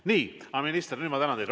Nii, minister, nüüd ma tänan teid.